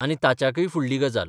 आनी ताच्याकय फुडली गजाल.